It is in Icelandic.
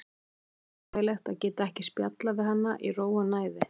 Samt er óþægilegt að geta ekki spjallað við hana í ró og næði.